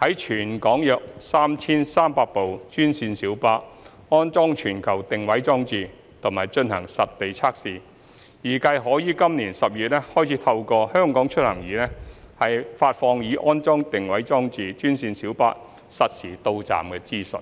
在全港約 3,300 部專線小巴安裝全球定位裝置及進行實地測試，預計可於今年12月開始透過"香港出行易"發放已安裝定位裝置的專線小巴實時到站資訊。